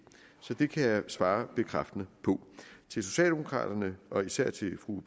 så det kan jeg svare bekræftende på til socialdemokraterne og især til fru